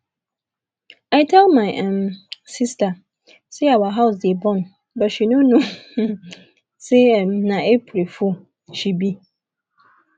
i tell my um sister say our house dey burn but she no know um say um say na april fool she be